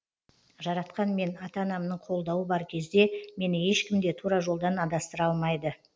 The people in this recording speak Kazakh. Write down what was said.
жаратқан мен ата анамның қолдауы бар кезде мені ешкім де тура жолдан адастыра алмайды